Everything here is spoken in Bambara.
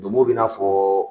Donmo bi n'a fɔ